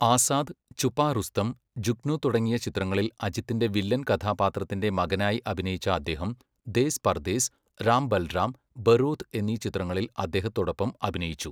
ആസാദ്, ഛുപ റുസ്തം, ജുഗ്നു തുടങ്ങിയ ചിത്രങ്ങളിൽ അജിത്തിന്റെ വില്ലൻ കഥാപാത്രത്തിന്റെ മകനായി അഭിനയിച്ച അദ്ദേഹം ദേസ് പർദേസ്, രാം ബൽറാം, ബറൂദ് എന്നീ ചിത്രങ്ങളിൽ അദ്ദേഹത്തോടൊപ്പം അഭിനയിച്ചു.